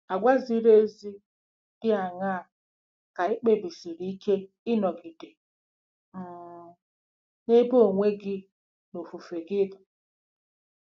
Àgwà ziri ezi dị aṅaa ka i kpebisiri ike ịnọgide um n'ebe onwe gị na ofufe gị nọ?